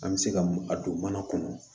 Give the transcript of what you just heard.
An bɛ se ka a don mana kɔnɔ